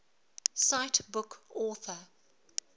cite book author